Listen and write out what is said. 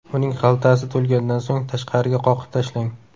Uning xaltasi to‘lgandan so‘ng, tashqariga qoqib tashlang.